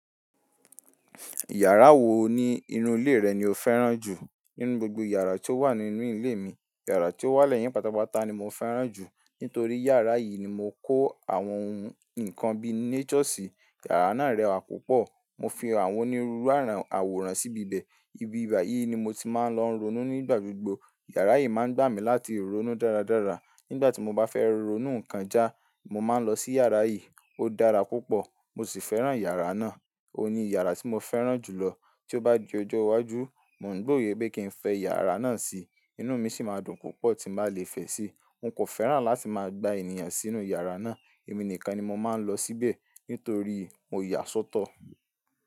Yàrá wo ni inú ilé rẹ ni o fẹ́ràn jù? Nínú gbogbo yàrá tí ó wà ní inú ilé mi, yàrá tí ó wà lẹ́yìn pàtàpàtà ni mo fẹ́ràn jù. Nítorí yàrá yìí ni mo kó àwọn ohun ìkan bíi nature sí. Yàrá náà rẹwà púpọ̀. Mo fi àwọn onírúurú àwòrán síbi bẹ̀. Ibi bayìí ni mo ti máa ń lọ ronú nígbà gbogbo. Yàrá yìí má ń gbà mí láti ronú dáradára. Nígbà tí mo bá fẹ́ ronú nǹkan já, mo máa ń lọ sí yàrá yìí. Ó dára púpọ̀, mo sì fẹ́ràn yàrá náà. Óun ni yàrá tí mo fẹ́ràn jù lọ. Tí ó bá di ọjọ́ iwájú, mo oun gbo yẹ pé kí n fẹ́ yàrá náà si, inú mi sì máa dùn púpọ̀ tí n bá lè fẹ́ sí i. Hun kò fẹ́ràn láti máa gba ènìyàn sínú yàrá náà. Èmi nìkan ni mo máa ń lọ síbẹ̀ nítorí mo yàsọ́tọ̀.